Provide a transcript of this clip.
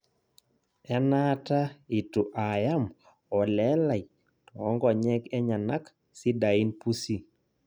Enaata itu aayam olee lai toonkonyek enyenak sidain pusi